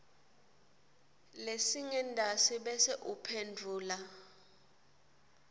lesingentasi bese uphendvula